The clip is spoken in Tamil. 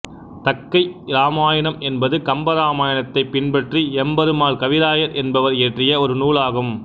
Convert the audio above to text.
தக்கை இராமாயணம் என்பது கம்பராமாயணத்தைப் பின்பற்றி எம்பெருமான் கவிராயர் என்பவர் இயற்றிய ஒரு நூலாகும்